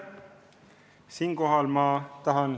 Aitäh!